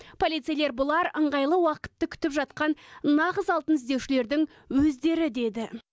полицейлер бұлар ыңғайлы уақытты күтіп жатқан нағыз алтын іздеушілердің өздері деді